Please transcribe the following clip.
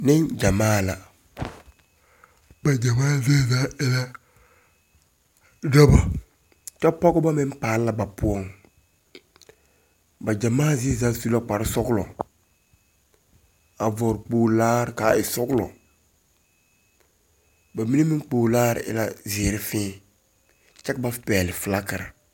Nenɡyamaa la ba ɡyamaa zie zaa e la dɔbɔ kyɛ pɔɡebɔ meŋ paale la ba poɔŋ ba ɡyamaa zie zaa su la kparsɔɔlɔ a vɔɔle kpoolaare ka e sɔɔlɔ ba mine meŋ kpoolaare e la ziiri fēē kyɛ ka ba pɛɡele felaŋkere.